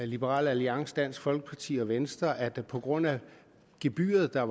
liberal alliance dansk folkeparti og venstre at vi på grund af det gebyr der